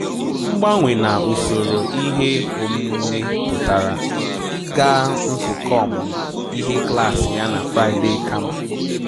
Mgbanwe na usoro ihe omume pụtara ịga nzukọ ọmụmụ ihe klaasị ya na Friday kama